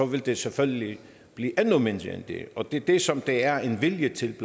vil den selvfølgelig blive endnu mindre end det og det er det som der er en vilje til i